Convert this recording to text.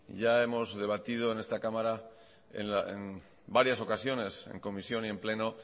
ya hemos debatido en esta cámara en varias ocasiones en comisión y en pleno